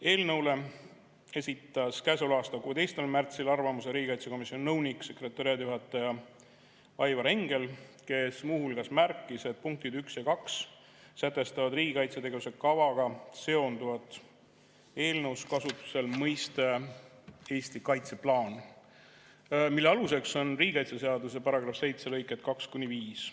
Eelnõu kohta esitas käesoleva aasta 16. märtsil arvamuse riigikaitsekomisjoni nõunik-sekretariaadijuhataja Aivar Engel, kes muu hulgas märkis, et punktid 1 ja 2 sätestavad riigi kaitsetegevuse kavaga seonduvat , mille aluseks on riigikaitseseaduse § 7 lõiked 2–5.